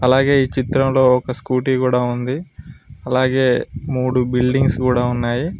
అలాగే ఈ చిత్రంలో ఒక స్కూటీ కూడా ఉంది అలాగే మూడు బిల్డింగ్స్ కూడా ఉన్నాయి.